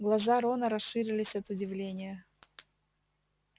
глаза рона расширились от удивления